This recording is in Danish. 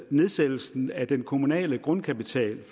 nedsættelsen af den kommunale grundkapital